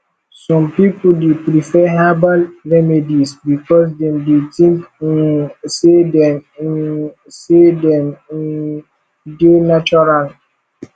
some people dey prefer herbal remedies because dem dey think um say dem um say dem um dey natural